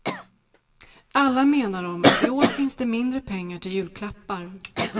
Alla menar de att i år finns det mindre pengar till julklappar.